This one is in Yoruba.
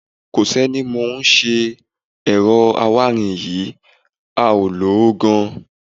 Kò sẹ́ni tó mọ ohun tó ṣe ẹ̀rọ awáirin yín, a ò rí i lò gan-an.